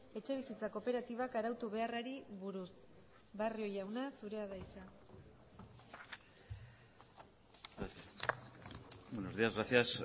etxebizitza kooperatibak arautu beharrari buruz barrio jauna zurea da hitza buenos días gracias